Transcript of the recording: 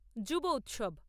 যুব উৎসব